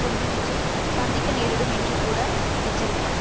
குண்டுவீச்சை சந்திக்க நேரிடும் என்றுகூட எச்சரித்தார்